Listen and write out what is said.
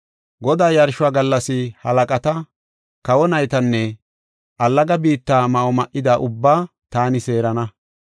“Godaa yarshuwa gallas halaqata, kawa naytanne allaga biitta ma7o ma77ida ubbaa taani seerana.